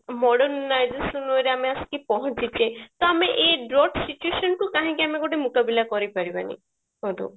ବଡ ଆମେ ଆସିକି ପହଞ୍ଚିଛେ ତ ଆମେ ଏଇ drought situation କୁ କାହିଁକି ଆମେ ଗୋଟେ ମୁକାବିଲା କରି ପାରିବାନି କୁହନ୍ତୁ